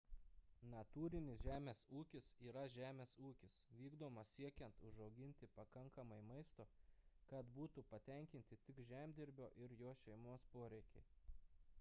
natūrinis žemės ūkis yra žemės ūkis vykdomas siekiant užauginti pakankamai maisto kad būtų patenkinti tik žemdirbio ir jo šeimos poreikiai